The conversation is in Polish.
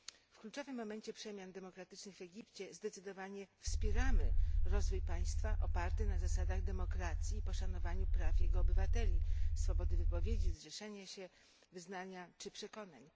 W kluczowym momencie przemian demokratycznych w Egipcie zdecydowanie wspieramy rozwój państwa oparty na zasadach demokracji i poszanowaniu praw jego obywateli swobody wypowiedzi, zrzeszania się, wyznania czy przekonań.